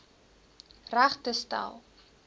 reg te stel